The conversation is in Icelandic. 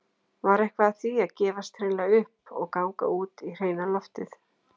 Var eitthvað að því að gefast hreinlega upp- og ganga út í hreina loftið?